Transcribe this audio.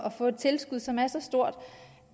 at få et tilskud som er så stort